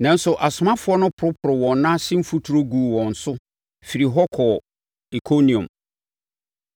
Nanso, asomafoɔ no poroporoo wɔn nan ase mfuturo guu wɔn so firii hɔ kɔɔ Ikoniom.